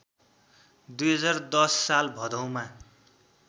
२०१० साल भदौमा